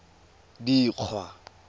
dikgwa